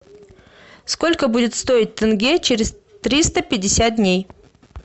сколько будет стоить тенге через триста пятьдесят дней